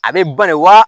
A bɛ bali wa